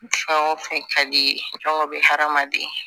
Fɛn o fɛn ka di i ye fɛn o bɛ hadamaden